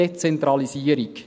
Dezentralisierung.